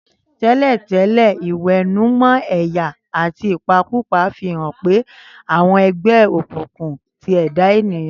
Tẹ́lẹ̀tẹ́lẹ̀, ìwẹ̀nùmọ́ ẹ̀yà àti ìpakúpa fi hàn pé àwọn ẹgbẹ́ òkùnkùn ti ẹ̀dá ènìyàn.